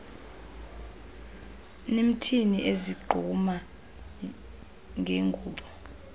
nimthini ezigquma ngengubo